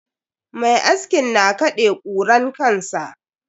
Mai askin na kaɗe kuran kansa.